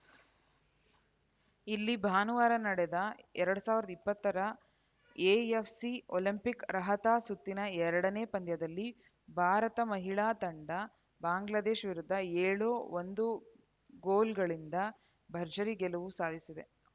ಇಲ್ಲಿ ಭಾನುವಾರ ನಡೆದ ಎರಡ್ ಸಾವಿರದ ಇಪ್ಪತ್ತರ ಎಎಫ್‌ಸಿ ಒಲಿಂಪಿಕ್‌ ಅರ್ಹತಾ ಸುತ್ತಿನ ಎರಡನೇ ಪಂದ್ಯದಲ್ಲಿ ಭಾರತ ಮಹಿಳಾ ತಂಡ ಬಾಂಗ್ಲಾದೇಶ ವಿರುದ್ಧ ಏಳು ಒಂದು ಗೋಲುಗಳಿಂದ ಭರ್ಜರಿ ಗೆಲುವು ಸಾಧಿಸಿದೆ